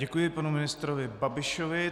Děkuji panu ministrovi Babišovi.